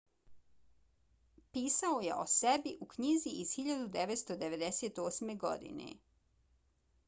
pisao je o sebi u knjizi iz 1998. godine